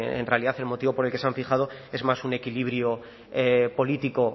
en realidad el motivo por el que se han fijado es más un equilibrio político